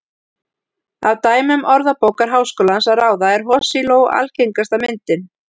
Af dæmum Orðabókar Háskólans að ráða er hosiló algengasta myndin.